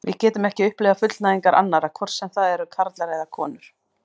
Við getum ekki upplifað fullnægingar annarra, hvort sem það eru karlar eða konur.